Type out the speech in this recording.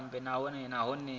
vha dzi bule nahone vha